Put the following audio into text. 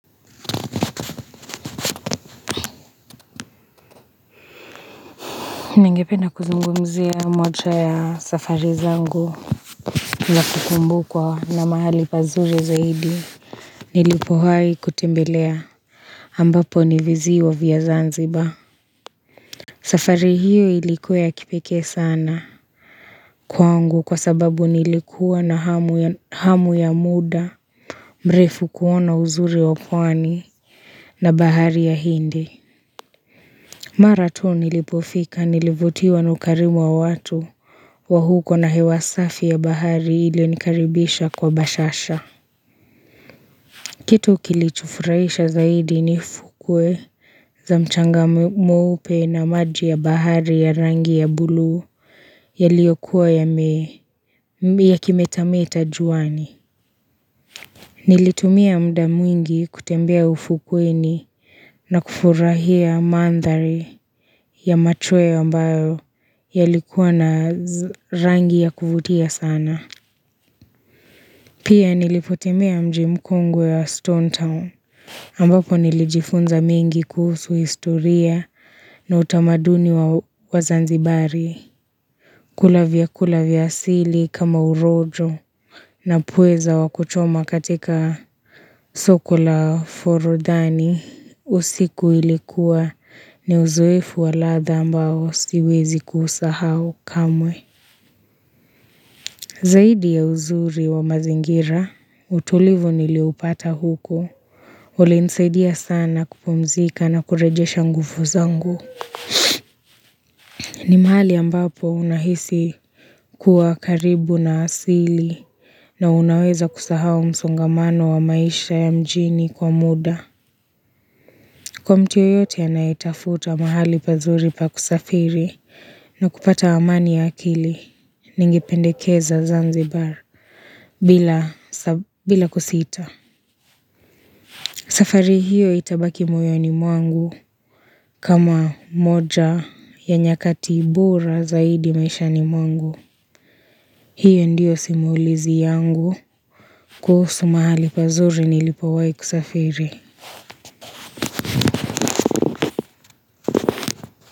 Ningependa kuzungumzia moja ya safari zangu za kukumbukwa na mahali pazuri zaidi Nilipowahi kutembelea ambapo ni viziwa vya zanzibar safari hiyo ilikuwa ya kipekee sana Kwangu kwa sababu nilikuwa na hamu ya muda mrefu kuona uzuri wa pwani na bahari ya hindi Mara tu nilipofika nilivutiwa na ukarimu wa watu wa huko na hewasafi ya bahari ilionikaribisha kwa bashasha. Kitu kilichofurahisha zaidi ni fukwe za mchanga mweupe na maji ya bahari ya rangi ya buluu yaliyokuwa ya kimetameta juani. Nilitumia muda mwingi kutembea ufukweni na kufurahia mandhari ya machoweo ambayo yalikuwa na rangi ya kuvutia sana. Pia nilipotembea mji mkongwe wa Stone Town ambapo nilijifunza mengi kuhusu historia na utamaduni wa Zanzibari. Kula vyakula vya asili kama urojo na pweza wa kuchoma katika soko la forodhani usiku ilikuwa ni uzoefu wa ladha ambao siwezi kuusahau kamwe. Zaidi ya uzuri wa mazingira utulivu niliupata huko. Ule nisaidia sana kupumzika na kurejesha nguvu zangu. Ni mahali ambapo unahisi kuwa karibu na asili na unaweza kusahau msongamano wa maisha ya mjini kwa muda. Kwa mtu yeyote anayetafuta mahali pazuri pa kusafiri na kupata amani ya akili ningependekeza zanzibar bila kusita. Safari hiyo itabaki moyoni mwangu. Kama moja ya nyakati bora zaidi maishani mwangu. Hiyo ndio simulizi yangu kuhusu mahali pazuri nilipowahi kusafiri.